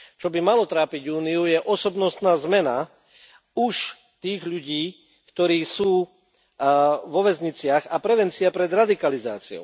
Čo by malo trápiť Úniu je osobnostná zmena už tých ľudí, ktorí sú vo väzniciach, a prevencia radikalizácie.